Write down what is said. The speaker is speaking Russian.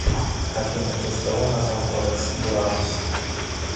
афина в честь кого назван кодекс буранус